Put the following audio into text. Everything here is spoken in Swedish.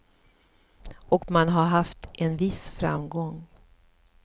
Och man har haft en viss framgång.